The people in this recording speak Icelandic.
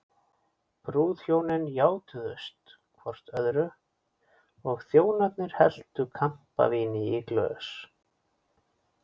Brúðhjónin játuðust hvort öðru og þjónarnir helltu kampavíni í glös.